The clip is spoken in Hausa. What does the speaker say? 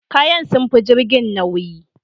Kayan sun fi jirgin nauyi